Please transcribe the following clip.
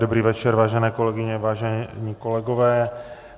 Dobrý večer, vážené kolegyně, vážení kolegové.